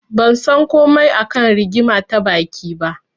Ban san komai a kan rigima ta baki ba.